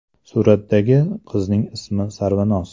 Suratdagi qizning ismi Sarvinoz.